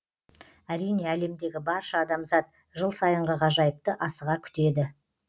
әрине әлемдегі барша адамзат жыл сайынғы ғажайыпты асыға күтеді